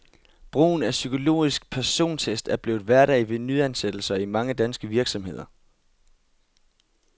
Brugen af psykologisk persontest er blevet hverdag ved nyansættelser i mange danske virksomheder.